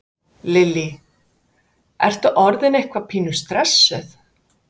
Lillý: Ertu orðin eitthvað pínu stressuð?